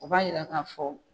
O b'a yira k'a fɔ.